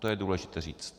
To je důležité říct.